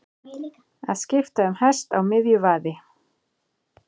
Að skipta um hest á miðju vaði